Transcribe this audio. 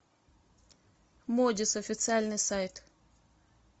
модис официальный сайт